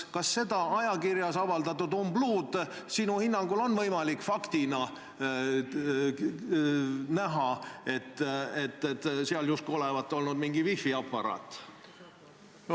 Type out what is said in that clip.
Kas seda ajakirjas avaldatud umbluud on sinu hinnangul võimalik tõlgendada faktina, et seal justkui oli mingi wifiaparaat?